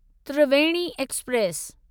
Triveni express